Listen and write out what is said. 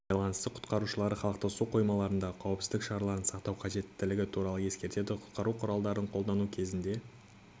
байланысты құтқарушылары халықты су қоймаларында қауіпсіздік шараларын сақтау қажеттігі туралы ескертеді құтқару құралдарын қолдану кезінде